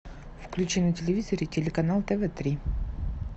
включи на телевизоре телеканал тв три